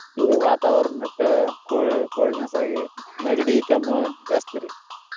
ಈ ವಾತಾವರಣಕ್ಕ co~ coldness ಆಗಿ ನೆಗಡಿ ಕೆಮ್ಮು ಜಾಸ್ತಿ ರಿ.